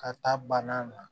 Ka taa bana na